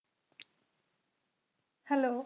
hello